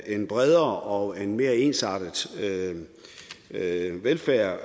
en bredere og en mere ensartet velfærd